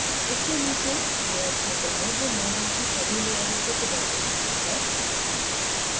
इसके नीचे layer क्षेत्र है जो model की सभी लेयरों को प्रदर्शित करता है